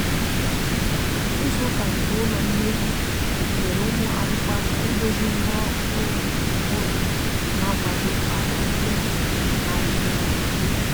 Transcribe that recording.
izu uka nke ụlọ mmezi nyere ụmụ akwụkwo aka ịdozi ngwa ọrụ ụlọ ha na akwado kwa omume na adigide adigide